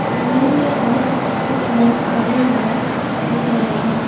जमीन के आस पास कुछ लोग खड़े हुए दिख रहे हैं।